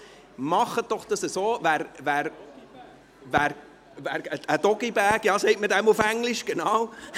Machen Sie das doch so, mit einem Doggy-Bag, wie man das auf Englisch sagt.